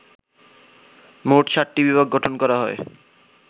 মোট ৭টি বিভাগ গঠন করা হয়